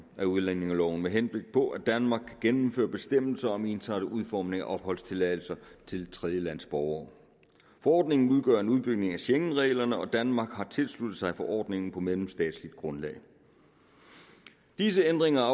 af udlændingeloven med henblik på at danmark gennemfører bestemmelser om ensartet udformning af opholdstilladelser til tredjelandsborgere forordningen udgør en udbygning af schengenreglerne og danmark har tilsluttet sig forordningen på mellemstatsligt grundlag disse ændringer af